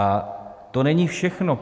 A to není všechno.